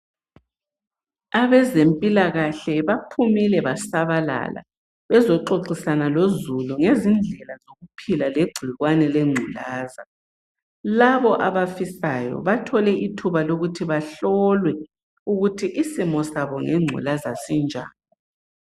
Abezempilakahle baphumile basabalala bezoxoxisana lozulu ngezindlela zokuphila legcikwane lengculaza. Labo abafisayo bathole ithuba lokuthi bahlolwe ukuthi isimo sabo ngengculaza sinjani.